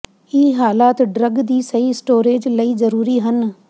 ਇਹ ਹਾਲਾਤ ਡਰੱਗ ਦੀ ਸਹੀ ਸਟੋਰੇਜ਼ ਲਈ ਜ਼ਰੂਰੀ ਹਨ